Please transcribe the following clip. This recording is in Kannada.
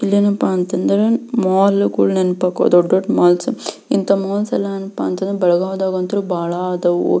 ಇಲ್ಲೆನಪ್ಪ ಅಂತ ಅಂದ್ರೆ ಮಾಲ್ ಗಳು ನೆನಪ್ ಆಗ್ತಾವ ದೊಡ್ಡ ದೊಡ್ಡ ಮೊಲ್ಸ್ ಇಂಥ ಮಾಲ್ ಗಳು ಏನಪಾ ಅಂತಂದ್ರೆ ಬೆಳಗಾವಿ ದಾಗ್ ಅಂತಾ ಬಹಳ ಆದವು.